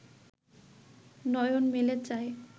নয়ন মেলে চায়